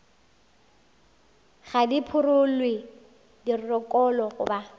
ga di phurelwe dirokolo goba